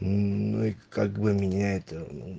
ну и как бы меня это